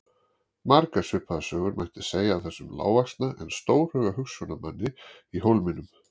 Margar svipaðar sögur mætti segja af þessum lágvaxna en stórhuga hugsjónamanni í Hólminum.